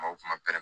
O kuma pɛrɛn